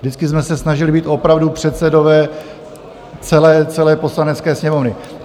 Vždycky jsme se snažili být opravdu předsedové celé Poslanecké sněmovny.